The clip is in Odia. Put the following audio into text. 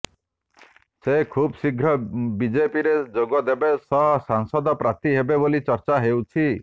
ସେ ଖୁବ୍ଶୀଘ୍ର ବିଜେପିରେ ଯୋଗଦେବା ସହ ସାଂସଦ ପ୍ରାର୍ଥୀ ହେବେ ବୋଲି ଚର୍ଚ୍ଚା ହେଉଛି